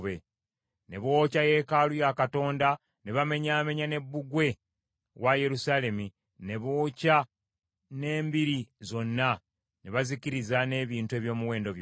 Ne bookya yeekaalu ya Katonda ne bamenyaamenya ne bbugwe wa Yerusaalemi, ne bookya n’embiri zonna, ne bazikiriza n’ebintu eby’omuwendo byonna.